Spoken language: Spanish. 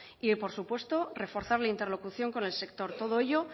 y por supuesto reforzar la interlocución con el sector todo ello